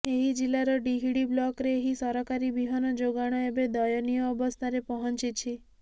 ଏହି ଜିଲାର ତିହିଡି ବ୍ଲକ୍ରେ ଏହି ସରକାରୀ ବିହନ ଯୋଗାଣ ଏବେ ଦୟନୀୟ ଅବସ୍ଥାରେ ପହଞ୍ଚିଛି